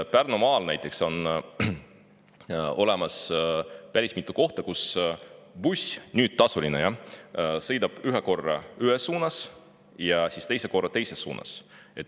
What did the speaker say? Pärnumaal on näiteks päris mitu kohta, kus buss, mis on nüüd tasuline, sõidab ühe korra ühes suunas ja teise korra teises suunas.